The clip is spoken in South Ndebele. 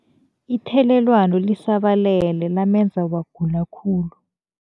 Ithelelwano lisabalele lamenza wagula khulu.